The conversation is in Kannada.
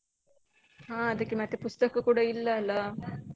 ಹಾ ಅದಕ್ಕೆ ಮತ್ತೆ ಪುಸ್ತಕ ಕೂಡ ಇಲ್ಲ ಅಲ್ಲ.